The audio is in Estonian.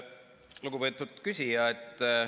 Lugupeetud küsija!